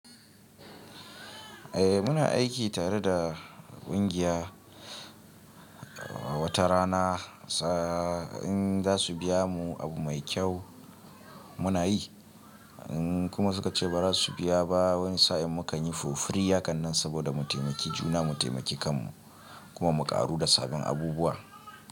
Eh muna aiki tare da kungiya, wata rana sa in za su biya mu abu mai kyau muna yi, in kuma suka ce ba za su biya ba wani sa'in mu kan yi for free hakanan saboda mu taimaki juna mu taimaki kanmu kuma mu ƙaru da sabun abubuwa.